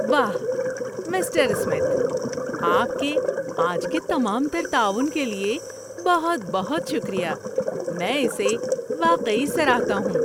واہ، mister Smith.! آپ کے آج کے تمام تر تعاون کے لیے بہت بہت شکریہ۔ میں اسے واقعی سراہتا ہوں!